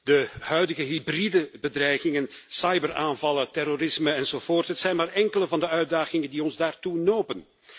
De huidige hybride bedreigingen, cyberaanvallen, terrorisme enzovoort, zijn maar enkele van de uitdagingen die ons daartoe nopen.